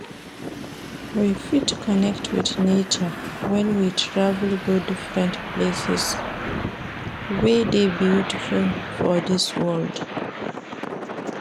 We fit connect with nature when we travel go different places wey de beautiful for dis world